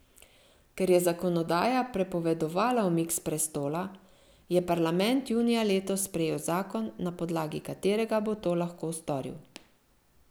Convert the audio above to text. Ker je zakonodaja prepovedovala umik s prestola, je parlament junija letos sprejel zakon, na podlagi katerega bo to lahko storil.